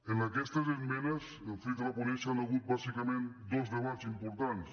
en aquestes esmenes fruit de la ponència hi han hagut bàsicament dos debats importants